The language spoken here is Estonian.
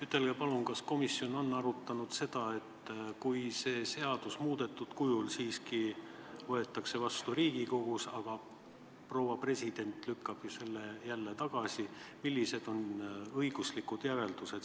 Ütelge palun, kas komisjon on arutanud seda, et kui see seadus muudetud kujul siiski Riigikogus vastu võetakse, aga proua president lükkab selle jälle tagasi, siis millised on sellises olukorras õiguslikud järeldused.